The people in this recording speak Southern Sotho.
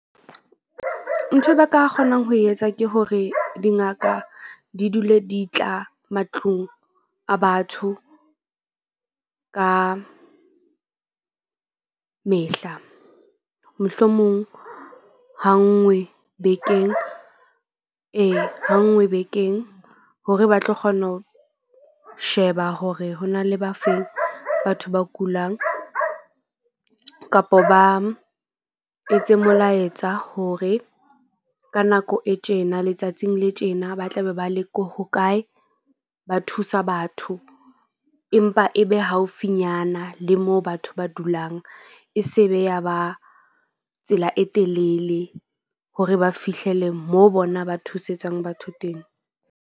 Ntho e ba ka kgonang ho etsa ke hore dingaka di dule di tla matlung a batho ka mehla. Mohlomong ha nngwe bekeng ee, ha nngwe bekeng hore ba tlo kgona ho sheba hore ho na le ba feng batho ba kulang kapo ba etse molaetsa hore ka nako e tjena letsatsing le tjena. Ba tla be ba le ko hokae. Ba thusa batho empa e be haufinyana le moo batho ba dulang e se be ya ba tsela e telele hore ba fihlele moo bona ba thusetsang batho teng.